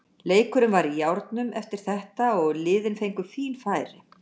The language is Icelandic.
Leikurinn var í járnum eftir þetta og liðin fengu fín færi.